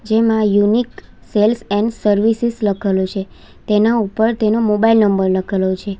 જેમાં unique sales and services લખેલું છે તેના ઉપર તેનો મોબાઈલ નંબર લખેલો છે.